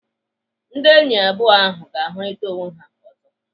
Ndị enyi abụọ ahụ ga-ahụrịta onwe ha ọzọ.